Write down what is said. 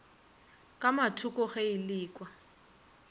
ka mathoko ge e lekwa